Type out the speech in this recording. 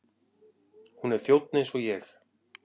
Hún er þjónn eins og ég.